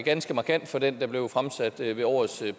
ganske markant fra den der blev fremsat ved årets